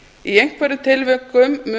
í einhverjum tilvikum